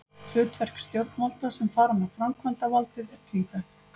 Hlutverk stjórnvalda sem fara með framkvæmdavaldið er tvíþætt.